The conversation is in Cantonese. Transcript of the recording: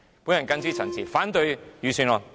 我謹此陳辭，反對預算案。